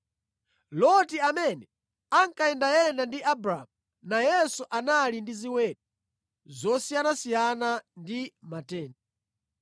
Loti amene ankayendayenda ndi Abramu nayenso anali ndi ziweto zosiyanasiyana ndi matenti.